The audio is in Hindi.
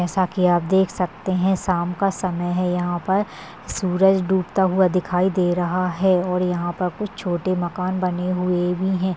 जैसा की आप देख सकते है शाम का समय है यहाँ पर सूरज डूबता हुआ दिखाई दे रहा है और यहाँ पर कुछ छोटे मकान बने हुए भी है।